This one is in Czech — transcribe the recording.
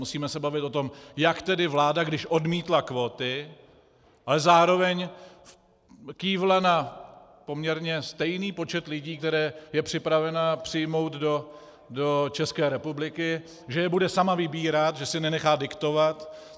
Musíme se bavit o tom, jak tedy vláda, když odmítla kvóty, ale zároveň kývla na poměrně stejný počet lidí, které je připravena přijmout do České republiky, že je bude sama vybírat, že si nenechá diktovat.